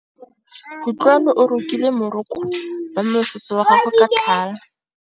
Kutlwanô o rokile morokô wa mosese wa gagwe ka tlhale.